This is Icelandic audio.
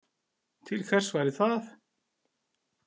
Til hvers væri það?